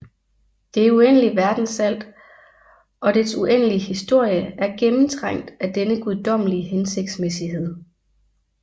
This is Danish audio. Det uendelige verdensalt og dets uendelige historie er gennemtrængt af denne guddommelige hensigtsmæssighed